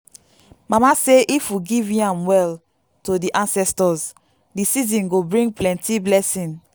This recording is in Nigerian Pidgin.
mama say if we give yam well to the ancestors the season go bring plenty blessing.